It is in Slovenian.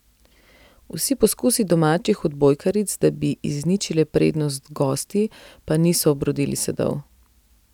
Vsi poskusi domačih odbojkaric, da bi izničile prednost gostij, pa niso obrodili sadov.